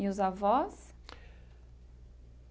E os avós?